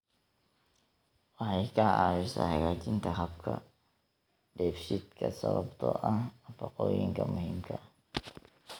Waxay ka caawisaa hagaajinta habka dheefshiidka sababtoo ah nafaqooyinka muhiimka ah.